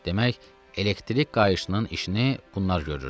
Demək, elektrik qayışının işini bunlar görürdü.